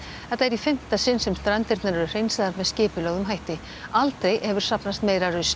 þetta er í fimmta sinn sem strandirnar eru hreinsaðar með skipulögðum hætti aldrei hefur safnast meira rusl